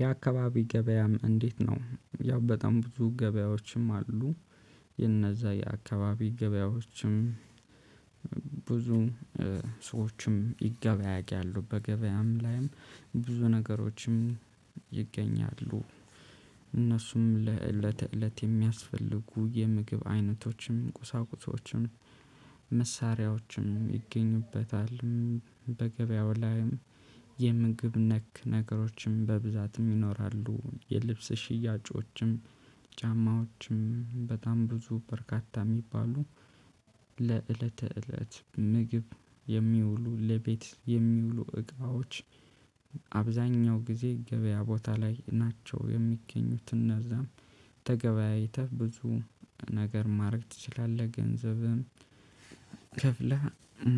የአካባቢ ገበያም እንዴት ነው ያው በጣም ብዙ ገበያዎችም አሉ። የነዛ የአካባቢ ገበያዎችም ብዙ ሰዎችም ይገበያያሉ በገበያም ላይም ብዙ ነገሮችም ይገኛሉ። እነሱም ለእለት እለት የሚያስፈልጉ የምግብ አይነቶችም ቁሳቁሶችም መሳሪያዎችም ይገኙበታል። በገበያው ላይም የምግብ ነክ ነገሮችም በብዛትም ይኖራሉ። የልብስ ሽያጮችም ጫማዎችም በጣም ብዙ በርካታ የሚባሉ ለዕለተ እለት ምግብ የሚውሉ ለቤት የሚውሉ እቃዎች። አብዛኛው ጊዜ ገበያ ቦታ ላይ ናቸው የሚገኙት። እነዛም ተገበያይተህ ብዙ ነገር ማድረግ ትችላለህ ገንዘብህን ከፍለህ